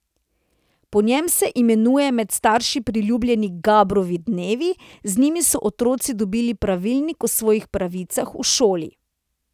Po njem se imenujejo med starši priljubljeni Gabrovi dnevi, z njim so otroci dobili pravilnik o svojih pravicah v šoli.